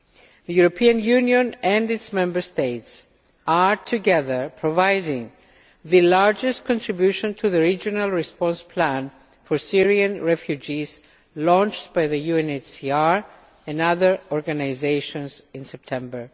The European Union and its Member States are together providing the largest contribution to the regional response plan for Syrian refugees launched by the UNHCR and other organisations in September.